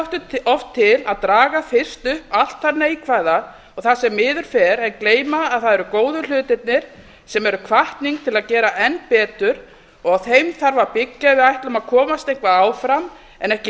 okkur hættir oft til að draga fyrst upp allt það neikvæða og það sem miður fer en gleyma að það eru góðu hlutirnir sem eru hvatning til að gera enn betur á þeim þarf að byggja ef við ætlum að komast eitthvað áfram en ekki